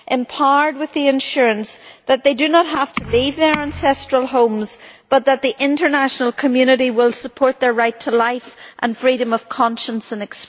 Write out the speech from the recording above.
empowered by the assurance that they do not have to leave their ancestral homes, and that the international community will support their right to life and freedom of conscience and expression.